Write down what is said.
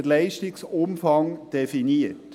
Darin wird der Leistungsumfang definiert.